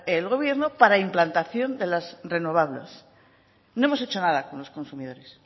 el gobierno para la implantación de las renovables no hemos hecho nada con los consumidores